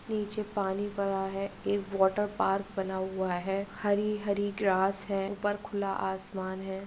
नीचे पानी पड़ा है एक वॉटरपार्क बना हुआ है हरी -हरी ग्रास है ऊपर खुला आसमान है।